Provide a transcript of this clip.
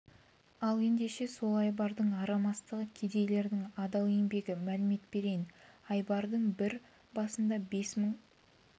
ал ендеше сол айбардың арам астығы кедейлердің адал еңбегі мәлімет берейін айбардың бір басында бес мың